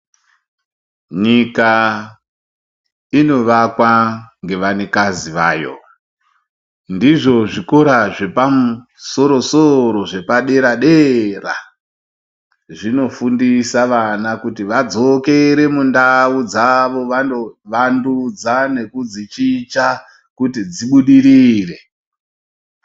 Nyika inovakwa ngevanikazi vayo, ndizvo zvikora zvepamusoro-soro zvepadera dera, zvinofundisa vana kuti vadzokere mundau dzavo vanovandudza nekudzichicha kuti dzibudirire.